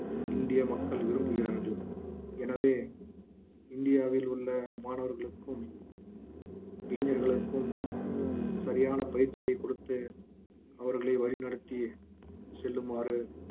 இந்திய மக்கள் விரும்புகிறார்கள் எனவே இந்தியாவில் உள்ள மாணவர்களுக்கும் இளைஞர்களுக்கும் சரியான பயிற்சியை கொடுத்து அவர்களை வழி நடத்தி செல்லுமாறு